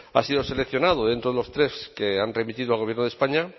ha sido seleccionado dentro de los tres que han remitido al gobierno de españa